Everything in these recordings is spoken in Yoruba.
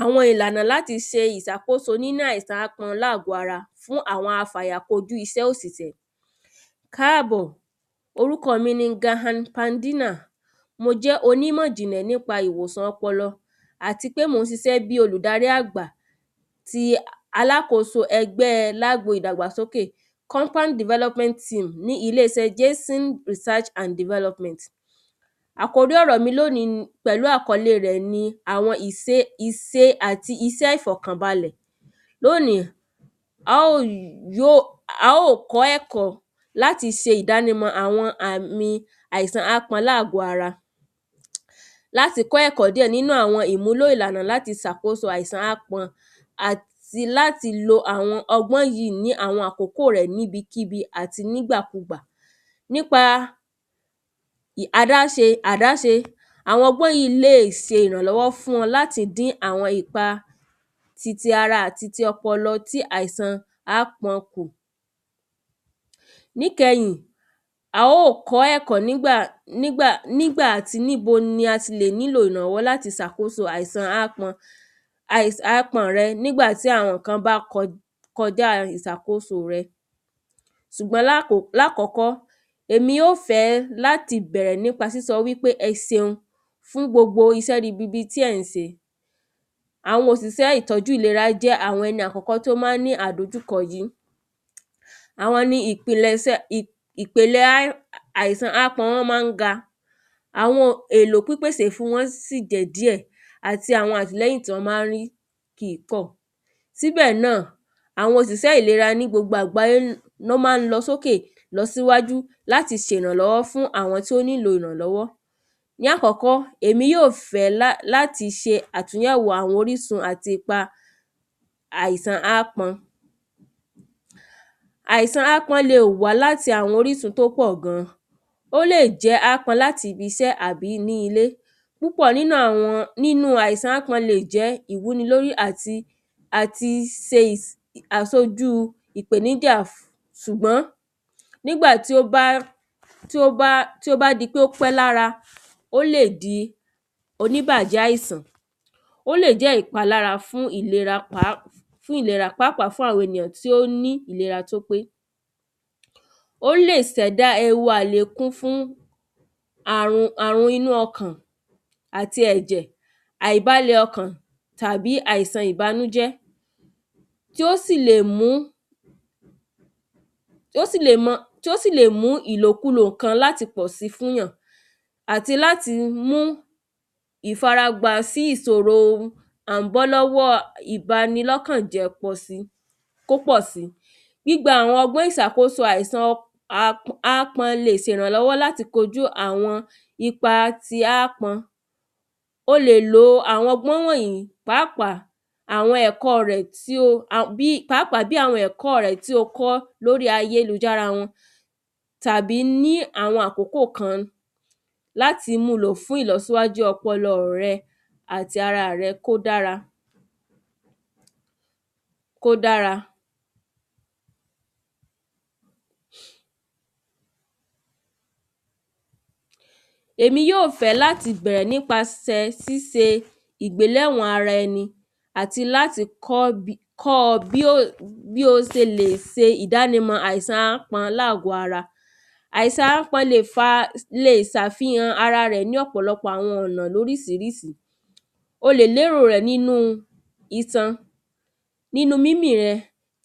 Àwọn ìlànà láti se ìsàkóso nínú àìsàn ápọn nínú àgọ́ ara fún àwọn afàyàkojú isẹ́ òsìsẹ́ káàbọ̀ orúkọ mi ni? mo jẹ́ onímọ̀ ìjìnlẹ̀ nípa ìwòsàn ọpọlọ àti pé mò ń sisẹ́ gẹ́gẹ́ bí olùdarí àgbà ti alákoso ẹgbẹ́ lágbo ìdàgbàsókè compound development team ní ilé isẹ́ Jayson research and development. Àkòrí ọ̀rọ̀ mi lónìí pẹ̀lú àkórí rẹ̀ ni ìse àti isẹ́ ìfọ̀kànbalẹ̀ lónìí á ò yóò á ò kọ́ ẹ̀kọ́ láti se ìdánimọ̀ àwọn àìsàn ápọn lágọ̀ọ́ ara láti kọ́ ẹ̀kọ́ díẹ̀ nínú àwọn ìmúlò ìlànà láti sàkóso àìsàn ápọn àti láti lo àwọn ọgbọ́n yìí ní àwọn àkókò rẹ̀ níbikíbi àti nígbàkugbà nípa adáṣe àdáṣe àwọn ọgbọ́n yìí lè ṣe ìrànlọ́wọ́ fún wọn láti dín àwọn ipa titi ara àti titi ọpọlọ ti ápọn kù. Níkẹyìn a ó kọ́ ẹ̀kọ́ nígbà nígbà àti níbo ni a lè ti nílò ìrànwó láti sàkóso àìsàn ápọn àìsàn ápọn rẹ nígbà tí àwọn nǹkan bá kọjá ìsàkóso rẹ sùgbọ́n láàkọ́kọ́ èmi ó fẹ́ bẹ̀rẹ̀ láti kọ́kọ́ sọ pé ẹseun fún gbogbo isẹ́ ribiribi tí ẹ̀ ń se àwọn òsìsẹ́ ìlera jẹ́ ẹni àkọ́kọ́ tó má ń ní ìdojúkọ yìí àwọn ni ìkpìlẹ̀sẹ̀ ìpèlè ápọn wọn má ń ga àwọn èlò pípèsè wọn sí jẹ́ díẹ̀ àti àwọn àtìlẹ́yìn tí wọ́n má ń rí kìí pọ̀ síbẹ̀ náà àwọn òsìsẹ́ ìlera ní gbogbo àgbáyé ló má ń lọ sókè lọsíwájú fún àwọn tó nílò ìrànwọ́ ní àkọ́kọ́ èmi yóò fẹ́ ní láti se àgbéyẹ̀wò àwọn orísun àti ipa àìsàn ápọn. Àìsàn ápọn le wá láti àwọn orísun tó pọ̀ gan ó lè jẹ́ ápọn láti ibi isẹ́ àbí inú ilé púpọ̀ nínú àwọn àìsàn ápọn le jẹ́ ìwúni lórí àti àti se àsojú ìpèníjà ṣùgbọ́n nígbà tí ó bá tí ó bá tí ó bá di pé ó pẹ́ lára ó lè di oníbàjẹ́ àìsàn ó lè jẹ́ ìpalára fún ìlera pàápàá oníbàjẹ́ àìsàn ó lè jẹ́ ìpalára fún ìlera pàápàá fún àwọn ènìyàn tí ó ní ìlera tí ó pé ó lè sẹ̀dá ewu àlékún fún àrùn inú ọkàn àti ẹ̀jẹ̀ àìbalẹ̀ ọkàn tàbí àìsàn ìbanújẹ́ tí ó sì lè mú tí ó sì lè mú tí ó sì lè mú ìlòkulò nǹkan láti pọ̀ sí fún yàn àti láti mú ìfaragbà sí ìsòrò à ń bọ́ lọ́wọ́ ìbanilọ́kàn jẹ́ pọ̀ sí kó pọ̀ sí gbígba àwọn ọgbọ́n ìsàkóso ápọn le sèrànlọ́wọ́ láti kojú àwọn ipa ti ápọn o lè lo àwọn ọgbọ́n wọ̀nyìí pàápàá àwọn ẹ̀kọ́ rẹ̀ tí o pàápàá àwọn ẹ̀kọ́ rẹ tí o kọ́ lórí ayélujára wọn tàbí ní àwọn àkókò kan láti mú lò fún ìlosíwájú ọpọlọ rẹ àti ara rẹ kí ó dára kó dára. Èmi yóò fẹ́ láti bẹ̀rẹ̀ nípa síse àgbéléwọ̀n ara ẹni àti láti kọ́ kọ́ bí bí o se le se ìdánimọ̀ àìsàn ápọn lágọ̀ ara àìsàn ápọn le sàfìhàn ara rẹ̀ ní àwọn ọ̀pọ̀lọpọ̀ ọ̀nà lórísirísi o lè lérò rẹ̀ nínú isan nínú mímí rẹ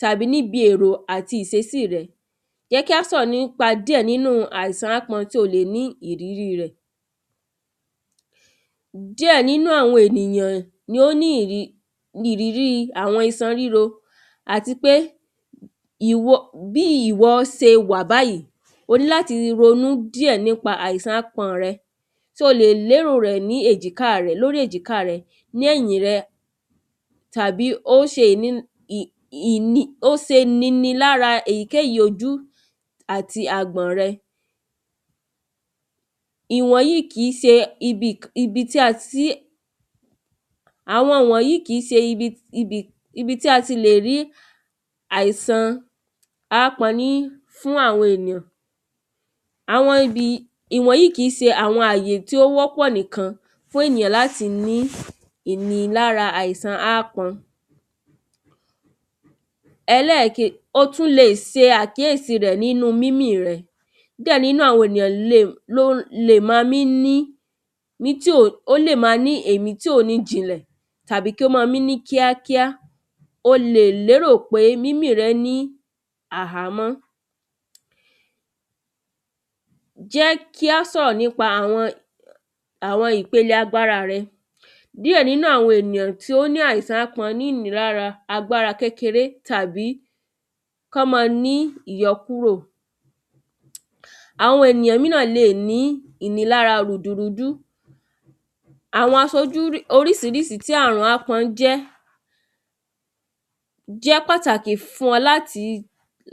tàbí níbi èrò àti ìsesí rẹ jẹ́ kí á sọ̀rọ̀ nípa àìsàn ápọn díẹ̀ tí o lè nírírí rẹ̀ díẹ̀ nínú àwọn ènìyàn ni ó nírírí ìrírí àwọn isan ríro àti pé bí ìwọ se wà báyìí o ní láti ronú díẹ̀ nípa àìsàn ápọn rẹ o lè lérò rẹ̀ ní èjìká rẹ ní ẹ̀yìn rẹ tàbí ó se nini lára èyíkèyí ojú àti àgbọ̀n rẹ. Ìwọ̀n yìí kìí se ibi tí àwọn wọ̀nyìí kìí se ibi tí a ti lè rí àìsàn ápọn ní fún àwọn ènìyàn àwọn ìwọ̀nyìí kìí se àwọn àyè tí ó wọ́pọ̀ nìkan fún ènìyàn láti ní ìnini lára àìsàn ápọn. Ẹlẹ́ẹ̀ke o tún le se àkíyèsí rẹ̀ níbi mími rẹ díẹ̀ nínú àwọn ènìyàn lè ló le má mí ní ní tí èmí tí ò mí jinlẹ̀ tàbí kí ó má mí ní kíákíá o lè lérò pé mímí rẹ ní àhámọ́. Jẹ́ kí á sọ̀rọ̀ nípa àwọn ìpele agbára rẹ díẹ̀ nínú àwọn ènìyàn tí ó ní àìsàn ápọn ní ìnini lára kékere tàbí á mọ́ ní ìyọkúrò àwọn ènìyàn míràn le ní ìnini lára rùdùrúdú àwọn asojú rísirísi tí àìsàn ápọn bá jẹ́ jẹ́ pàtàkì fún ọ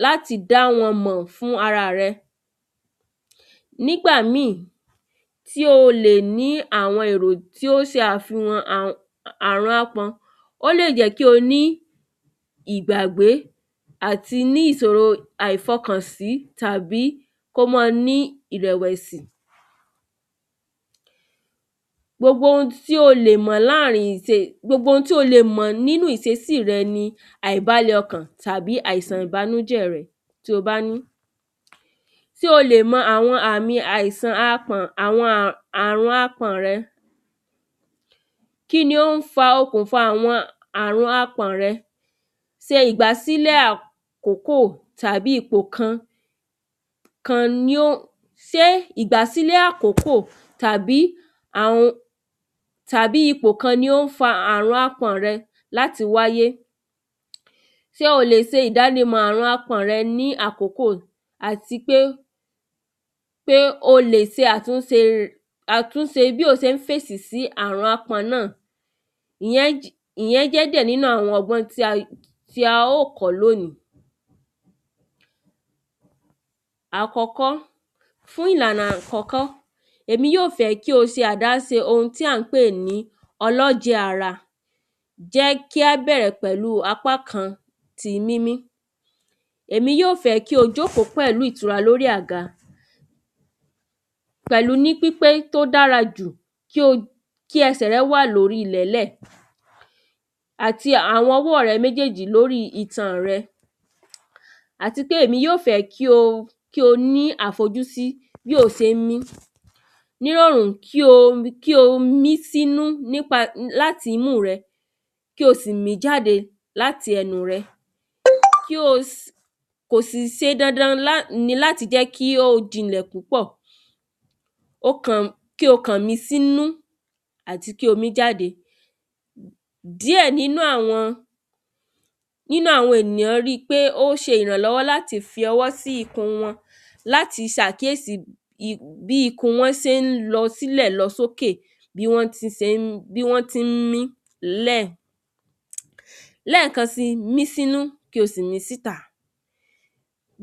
láti dá wọn mọ̀ fún ara rẹ nígbà mí tí o lè ní àwọn èrò tó se àfìhàn àrùn ápọn ó lè jẹ́ kí o ní ìgbàgbé àti ní ìsòro ìfọkànsí tàbí kó mọ́ ní ìrẹ̀wẹ̀sì. Gbogbo ohun tí o lè mọ̀ nínú ìsesí rẹ ni àìbalẹ̀ ọkàn tàbí àìsàn ìbanújẹ́ rẹ tí o bá ní o lè mọ àwọn àmì àìsàn ápọn rẹ kíni ó ń fa okùnfà àrùn ápọn rẹ se ìgbàsílẹ̀ àkókò tàbí ipò kan kan ni ó sé ìgbàsílẹ̀ àkókò tàbí tàbí ipò kan ni ó ń fa àrùn ápọn rẹ láti wáyé tí o lè se ìdánimọ̀ àrùn ákpọn rẹ àti pé pé o lè se àtúnse bí o se ń fèsì sí àrùn ápọn náà ìyẹn jẹ́ díẹ̀ níní àwọn ọgbọ́n tí a ó kọ́ lónìí àkọ́kọ́ fún ìlànà àkọ́kọ́ èmí yóò fẹ́ kí o se àdáse ohun tí à ń pè ní ọlọ́jẹ̀ ara jẹ́ kí á bẹ̀rẹ̀ pẹ̀lú ti apá kan ti mímí èmi yóò fẹ́ kí o jókòó pẹ̀lú ìtura lórí aga pẹ̀lú ní pípé tí ó dára jù kí ẹsẹ̀ rẹ wà nílẹ̀ àti àwọn ọwọ́ rẹ méjèjì lórí itan rẹ àti pé èmi yóò fẹ́ kí o ní àfojúsí bí o ṣe ń mí nírọ̀rùn kí o mí sí imú láti imú rẹ kí o sì mí jáde láti ẹnu rẹ kí o sì kò sì se dandan láti jẹ́ kí ó jinlẹ̀ púpọ̀ kí o kàn mí sínú àti kí o mí jáde díẹ̀ nínú àwọn nínú àwọn ènìyàn rí pé ó ṣe ìrànlọ́wọ́ láti fi ọwọ́ sí ikùn wọn láti sàkíyèsí bí ikùn wọn se ń lọ sílẹ̀ lọ sókè bí wọ́n tí se ń bí wọ́n tí ń mí lẹ̀ lẹ́kan sí mí sínú kí o sì mí síta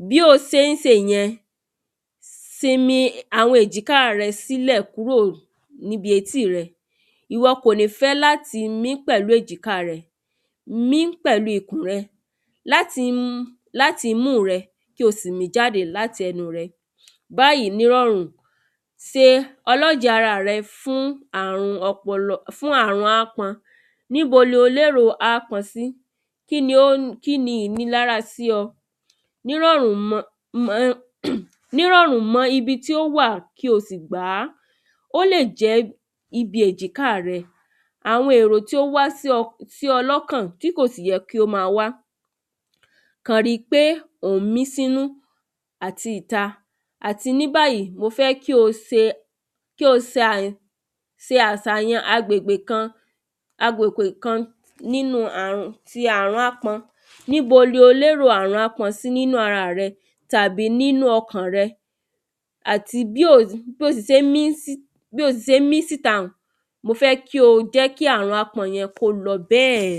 bí o se ń se yẹn sinmi àwọn èjìká rẹ kúrò níbi àwọn etí rẹ ìwọ kò lè fẹ́ láti mí pẹ̀lú èjìká rẹ mí pẹ̀lú ikùn rẹ láti imú rẹ kí o sì mí jáde láti ẹnu rẹ báyìí nírọ̀rùn se ọlọ́jẹ̀ ara rẹ fún àrùn ọpọlọ fún àrùn ápọn níbo lo lérò ápọn sí kíni ó ìnilára sí ọ nírọ̀rùn nírọ̀rùn mọ́ ibi tí ó wà kí o sì gbá ó lè jẹ́ níbi èjìká rẹ àwọn èrò tí ó wá sí ọ lọ́kàn tí kò sì yẹ kí ó má wá kàn rí pé ò ń mí sínú àti ìta àti níbàyìí mo fẹ́ kí o se kí o se se àsàyàn agbègbè kan agbègbè kan nínú ti àrùn ti ápọn níbo lo lérò àrùn ápọn nínú ara rẹ tàbí nínú ọkàn rẹ àti bí o ti se ń mí síta un mo fẹ́ kí o jẹ́ kí àrùn ápọn un kó lọ bẹ́ẹ̀.